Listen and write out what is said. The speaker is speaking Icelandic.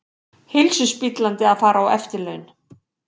Heilsuspillandi að fara á eftirlaun